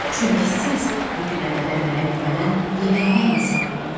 Çünki siz bu günə qədər mənə güvənən yeganə insan oldunuz.